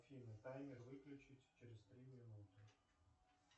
афина таймер выключить через три минуты